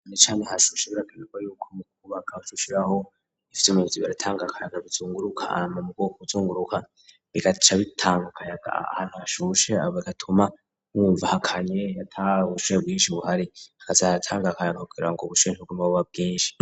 Necane hasibishibura agayurwa yuko mu kubagasushiraho ivyo umuzi baratanga akayaga bizunguruka ama mu bwoko ubuzunguruka bigaca bitanga akayaga ahantuashushe abogatuma mwumvahakanye yatawushuye bwinshi buhari hazaratangaakayaga kugira ngo bushunshibwemabuba bwinshi.